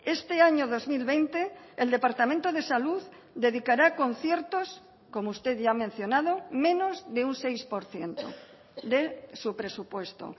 este año dos mil veinte el departamento de salud dedicará a conciertos como usted ya ha mencionado menos de un seis por ciento de su presupuesto